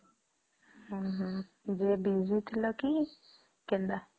ହମ୍ମ ହମ୍ମ Busy ଥିଲା କି କେନ୍ତା ?